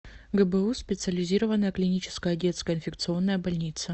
гбуз специализированная клиническая детская инфекционная больница